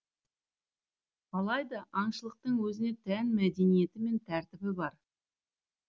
алайда аңшылықтың өзіне тән мәдениеті мен тәртібі бар